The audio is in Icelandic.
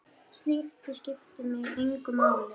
Slíkt skiptir mig engu máli.